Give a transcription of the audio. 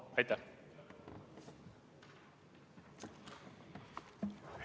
Aitäh!